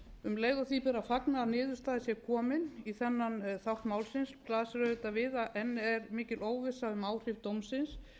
um leið og því ber að fagna að niðurstaða sé komin í þennan þátt málsins blasir auðvitað viða á enn er mikil óvissa um áhrif dómsins